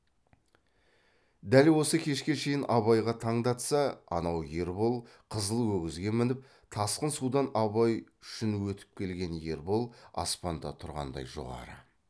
дәл осы кешке шейін абайға таңдатса анау ербол қызыл өгізге мініп тасқын судан абай үшін өтіп келген ербол аспанда тұрғандай жоғары